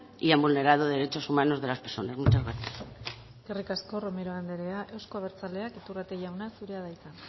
y han vulnerado derechos humanos de las personas muchas gracias eskerrik asko romero anderea euzko abertzaleak iturrate jauna zurea da hitza